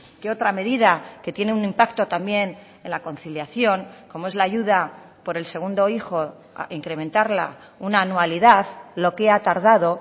que otra medida que tiene un impacto también en la conciliación como es la ayuda por el segundo hijo incrementarla una anualidad lo que ha tardado